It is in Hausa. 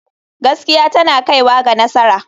Gaskiya tana kaiwa ga nasara.